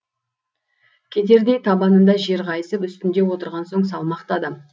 кетердей табанында жер қайысып үстінде отырған соң салмақты адам